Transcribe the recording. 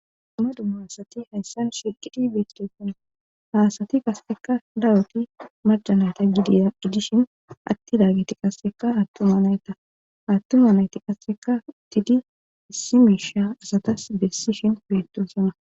Duma dumma asati hayssan shiqidi besdeefona haasati qaseka daroti majanayta dgidishin atti daagiti qasseka aattuma nayta hattuma nayti qasseka tidi issi miisha asatas bessishin betusana.